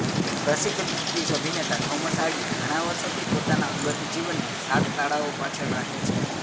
પ્રસિદ્ધ બ્રિટિશ અભિનેતા Thomas Hardy ઘણા વર્ષોથી પોતાના અંગત જીવનને સાત તાળાઓ પાછળ રાખે છે